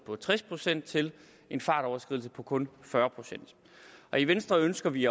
på tres procent til en fartoverskridelse på kun fyrre procent og i venstre ønsker vi